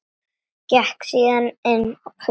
Gekk síðan inn fyrir aftur.